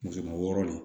Kɛmɛ wɔɔrɔ de